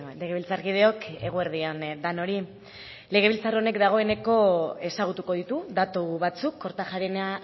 legebiltzarkideok eguerdi on denoi legebiltzar honek dagoeneko ezagutuko ditu datu batzuk kortajarena